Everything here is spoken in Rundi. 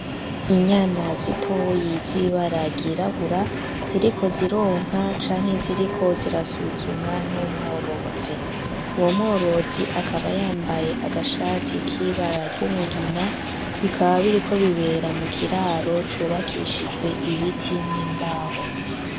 Inyana zitoyi zi bara ry'irabura ziriko zironka canke ziriko zirasuzumwa n'umworozi, uwo mworozi akaba yambaye agashati k'ibara ry'umugina bikaba biriko bibera mu kiraro cubakishijwe ibiti n'imbaho.